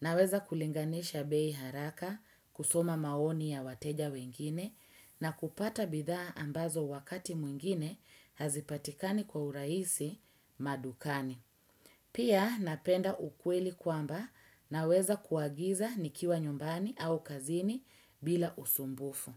Naweza kulinganisha bei haraka kusoma maoni ya wateja wengine na kupata bidha ambazo wakati mwingine hazipatikani kwa uraisi madukani. Pia napenda ukweli kwamba naweza kuagiza nikiwa nyumbani au kazini bila usumbufu.